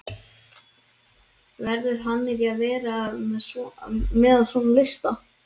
Verður hann ekki að vera með á svona lista?